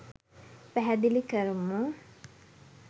පැහැදිලි කරමු.